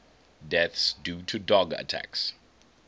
deaths due to dog attacks